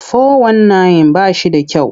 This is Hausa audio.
Fo-wan-nayin ba shi da kyau.